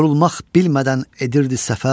yorulmaq bilmədən edirdi səfər.